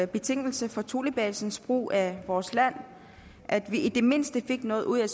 betingelse for thulebasens brug af vores land at vi i det mindste fik noget ud af